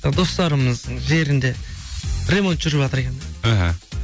достарымыздың жерінде ремонт жүріватыр екен да іхі